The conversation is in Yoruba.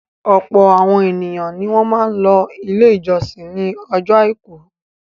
Ọ̀pọ̀ àwọn ènìyàn ni wọ́n máa ń lọ Ilé-ìjọsìn ní ọjọ́ àìkú.